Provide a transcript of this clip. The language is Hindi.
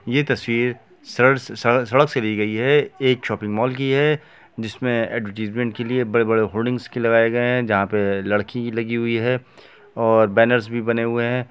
ये तस्वीर सड़क से ली गई है एक शॉपिंग मॉल की है जिसमें के लिए बड़े-बड़े होल्डिंग लगाए गए हैं जहां पर लड़की लगी हुई है और बैनर्स भी बने हुए हैं।